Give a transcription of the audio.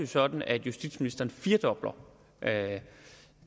sådan at justitsministeren firedobler